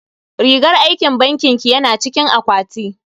Rigar aikin bankin ki yana cikin akwati.